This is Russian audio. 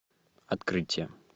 открытие